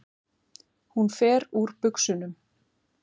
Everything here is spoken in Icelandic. Hún fer úr buxunum.